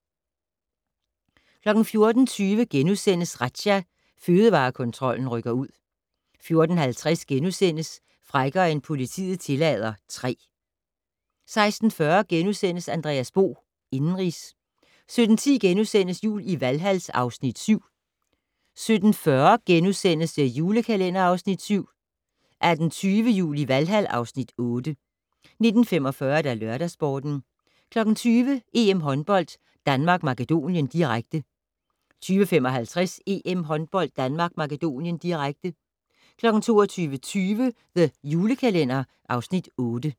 14:20: Razzia - Fødevarekontrollen rykker ud * 14:50: Frækkere end politiet tillader III * 16:40: Andreas Bo - indenrigs * 17:10: Jul i Valhal (Afs. 7)* 17:40: The Julekalender (Afs. 7)* 18:20: Jul i Valhal (Afs. 8) 19:45: LørdagsSporten 20:00: EM Håndbold: Danmark-Makedonien, direkte 20:55: EM Håndbold: Danmark-Makedonien, direkte 22:20: The Julekalender (Afs. 8)